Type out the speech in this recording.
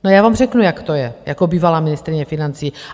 No, já vám řeknu, jak to je, jako bývalá ministryně financí.